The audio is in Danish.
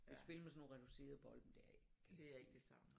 Kan spille med sådan nogle reducerede bolde men det er ikke